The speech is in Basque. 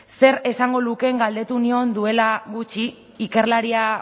zer esango lukeen galdetu nion duela gutxi ikerlaria